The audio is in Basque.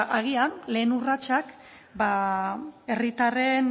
agian lehen urratsak herritarren